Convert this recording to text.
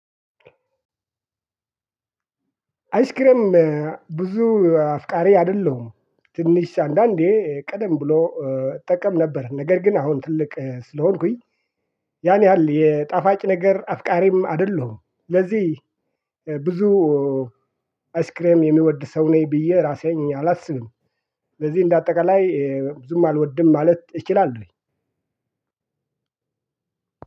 አይስክሬ ም ብዙ አፍቃሪ አይደለሁም ትንሽ አንዳንዴ ቀደም ብሎ እጠቀም ነበር ነገር ግን አሁን ትልቅ ስለሆንኩኝ ያን ያህል የጣፋጭ ነገር አፍቃሪም አይደለሁም ለዚህ ብዙ አይስክሬም የሚወድ ሰው ነኝ ብዬ እራሴን አላስብም። ስለዚህ እንደ አጠቃላይ ብዙም አልወድም ማለት እችላለሁኝ።